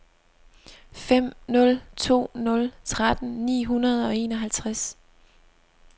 fem nul to nul tretten ni hundrede og enoghalvtreds